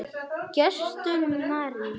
Gestur Már.